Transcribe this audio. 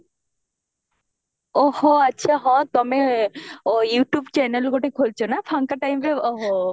ଓହୋ ଆଚ୍ଛା ହଁ ତମେ ଓ youtube channel ଗୋଟେ ଖୋଲିଚ ନା ଫାଙ୍କ timeରେ ଓହୋ